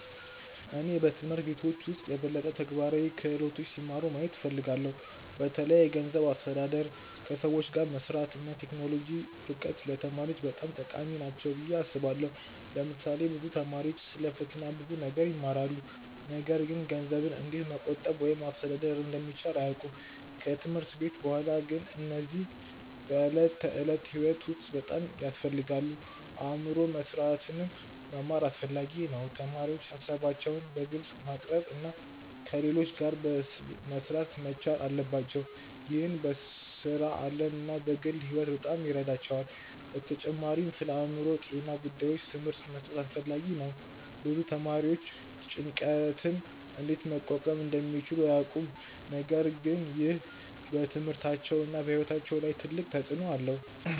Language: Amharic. እኔ በትምህርት ቤቶች ውስጥ የበለጠ ተግባራዊ ክህሎቶች ሲማሩ ማየት እፈልጋለሁ። በተለይ የገንዘብ አስተዳደር፣ ከሰዎች ጋር መስራት እና የቴክኖሎጂ እውቀት ለተማሪዎች በጣም ጠቃሚ ናቸው ብዬ አስባለሁ። ለምሳሌ ብዙ ተማሪዎች ስለ ፈተና ብዙ ነገር ይማራሉ፣ ነገር ግን ገንዘብን እንዴት መቆጠብ ወይም ማስተዳደር እንደሚቻል አያውቁም። ከትምህርት ቤት በኋላ ግን እነዚህ በዕለት ተዕለት ሕይወት ውስጥ በጣም ያስፈልጋሉ። አብሮ መስራትንም መማርም አስፈላጊ ነው። ተማሪዎች ሀሳባቸውን በግልጽ ማቅረብ እና ከሌሎች ጋር መሥራት መቻል አለባቸው። ይህ በሥራ ዓለም እና በግል ሕይወት በጣም ይረዳቸዋል። በተጨማሪም ስለአእምሮ ጤና ጉዳዮች ትምህርት መስጠት አስፈላጊ ነው። ብዙ ተማሪዎች ጭንቀትን እንዴት መቋቋም እንደሚችሉ አያውቁም፣ ነገር ግን ይህ በትምህርታቸውና በሕይወታቸው ላይ ትልቅ ተጽእኖ አለው።